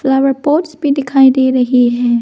Flower pots भी दिखाई दे रहे हैं।